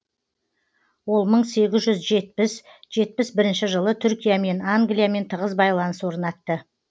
ол мың сегіз жүз жетпіс жетпіс бірінші жылы түркиямен англиямен тығыз байланыс орнатты